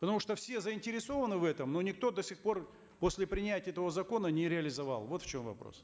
потому что все заинтересованы в этом но никто до сих пор после принятия этого закона не реализовал вот в чем вопрос